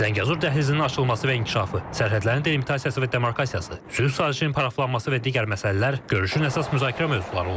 Zəngəzur dəhlizinin açılması və inkişafı, sərhədlərin delimitasiyası və demarkasiyası, sülh sazişinin paraflanması və digər məsələlər görüşün əsas müzakirə mövzuları olub.